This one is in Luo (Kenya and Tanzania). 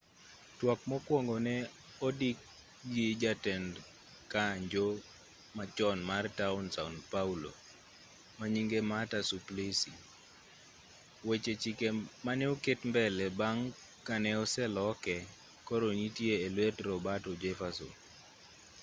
twak mokwongo ne odikgi jatend kanjo machon mar taon sao paulo manyinge marta suplicy weche chike mane oket mbele bang' ka ne oseloke koro nitie e luet roberto jefferson